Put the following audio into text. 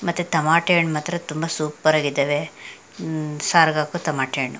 ಮತ್ತೆ ತಮಟೆ ಹಣ್ ಮಾತ್ರ ತುಂಬಾ ಸುಪೇರಾಗಿದ್ದವೇ ಹಮ್ ಸಾರ್ಗ್ ಹಾಕೋ ತಮಟೆ ಹಣ್ಣು--